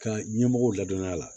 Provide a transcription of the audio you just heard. Ka ɲɛmɔgɔw ladɔnya a la